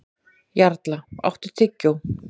Jarla, áttu tyggjó?